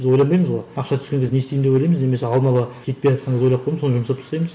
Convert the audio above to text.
біз ойланбаймыз ғой ақша түскен кезде не істеймін деп ойлаймыз немесе алдын ала жетпейатқанды ойлап қоямыз соны жұмсап тастаймыз